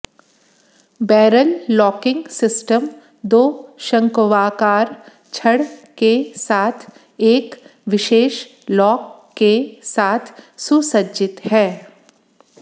barrel locking system दो शंक्वाकार छड़ के साथ एक विशेष लॉक के साथ सुसज्जित है